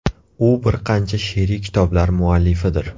U bir qancha she’riy kitoblar muallifidir.